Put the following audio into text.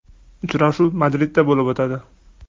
Uchrashuv Madridda bo‘lib o‘tadi.